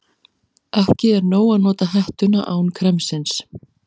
Ekki er nóg að nota hettuna án kremsins.